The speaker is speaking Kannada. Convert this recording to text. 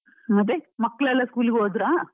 ಮತ್ತೆ, ಮಕ್ಕಳೆಲ್ಲ school ಗೆ ಹೋದ್ರ?